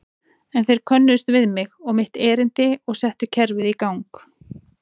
En þeir könnuðust við mig og mitt erindi og settu kerfið í gang.